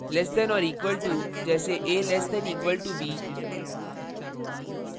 less than or equal to से कम या बराबर: जैसे a <= b